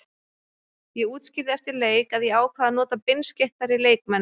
Ég útskýrði eftir leik að ég ákvað að nota beinskeyttari leikmenn.